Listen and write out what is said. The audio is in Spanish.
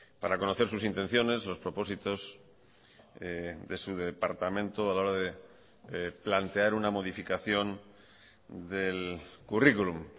para conocer sus intenciones los propósitos de su departamento a la hora de plantear una modificación del currículum